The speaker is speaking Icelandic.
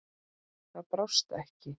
Það brást ekki.